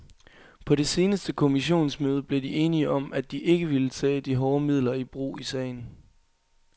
På det seneste kommissionsmøde blev de enige om, at de ikke ville tage de hårde midler i brug i sagen.